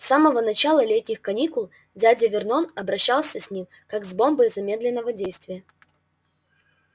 с самого начала летних каникул дядя вернон обращался с ним как с бомбой замедленного действия